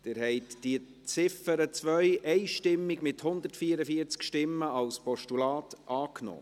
Sie haben die Ziffer 2 einstimmig mit 144 Stimmen als Postulat angenommen.